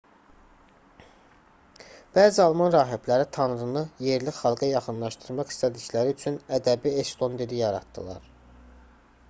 bəzi alman rahibləri tanrını yerli xalqa yaxınlaşdırmaq istədikləri üçün ədəbi eston dili yaratdılar